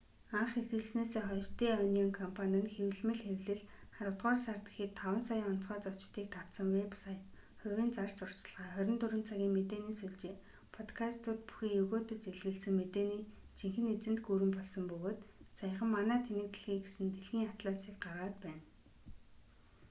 анх эхэлснээсээ хойш дэ онион компани нь хэвлэмэл хэвлэл аравдугаар сард гэхэд 5,000,000 онцгой зочдыг татсан вэб сайт хувийн зар сурталчилгаа 24 цагийн мэдээни сүлжээ подкастууд бүхий егөөдөж элэглэсэн мэдээний жинхэнэ эзэнт гүрэн болсон бөгөөд саяхан манай тэнэг дэлхий гэсэн дэлхийн атласыг гаргаад байна